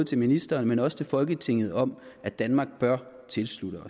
til ministeren men også til folketinget om at danmark bør tilslutte